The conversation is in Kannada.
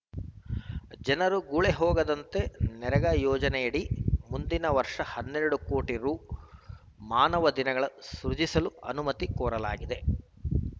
ಜನರು ಗುಳೆ ಹೋಗದಂತೆ ನರೇಗಾ ಯೋಜನೆಯಡಿ ಮುಂದಿನ ವರ್ಷ ಹನ್ನೆರಡು ಕೋಟಿ ರು ಮಾನವ ದಿನಗಳ ಸೃಜಿಸಲು ಅನುಮತಿ ಕೋರಲಾಗಿದೆ